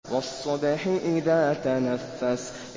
وَالصُّبْحِ إِذَا تَنَفَّسَ